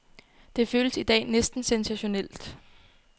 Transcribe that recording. Det føles i dag næsten sensationelt.